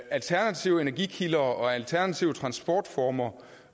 alternative energikilder og alternative transportformer